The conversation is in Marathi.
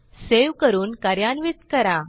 सेव्ह करून कार्यान्वित करा